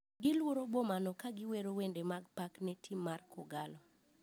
Giluoro boma no ka giwero wende mag pak ne tim mar kogallo.